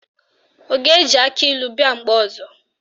Ọ ga-eji akịlụ bịa mgbe ọzọ?